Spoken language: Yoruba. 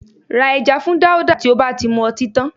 Ra ẹja fún Dáúdà tí ó bá ti mu ọtí tán